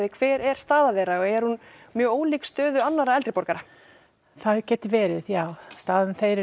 hver er staða þeirra er hún mjög ólík stöðu annarra eldri borgara það getur verið já staða þeirra er